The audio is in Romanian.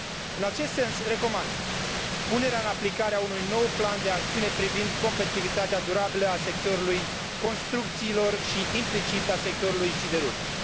În acest sens, recomand punerea în aplicare a unui nou plan de acțiune privind competitivitatea durabilă a sectorului construcțiilor și, implicit, a sectorului siderurgic